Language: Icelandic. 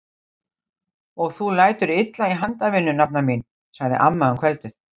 Og þú lætur illa í handavinnu nafna mín! sagði amma um kvöldið.